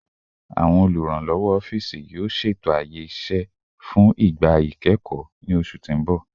Awọn oluranlọwọ ọfiisi, yoo ṣeto aaye iṣẹ fun igba ikẹkọ ni oṣu ti n bọ